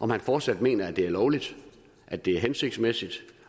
man fortsat mener at det er lovligt at det er hensigtsmæssigt